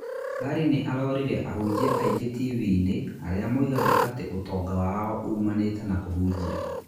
Larry nĩ arorire ahunjia aingĩ TV-inĩ arĩa moigaga atĩ ũtonga wao ũmanĩte na kũhunjia.